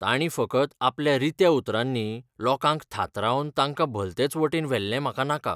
ताणीं फकत आपल्या रित्या उतरांनी लोकांक थाथारावन तांकां भलतेच वटेन व्हेल्ले म्हाका नाका.